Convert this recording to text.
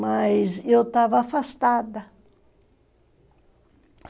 Mas eu estava afastada.